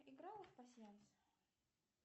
играла в пасьянс